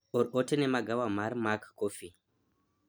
or ote ne magawa mar mac coffee